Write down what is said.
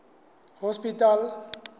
hospital